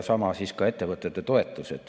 Sama on ka ettevõtete toetusega.